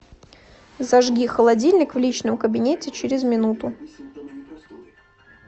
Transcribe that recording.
зажги холодильник в личном кабинете через минуту